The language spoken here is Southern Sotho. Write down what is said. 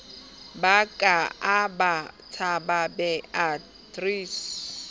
ba ka a ka tshababeatrice